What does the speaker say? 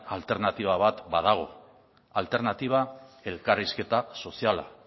alternatiba bat badago alternatiba elkarrizketa soziala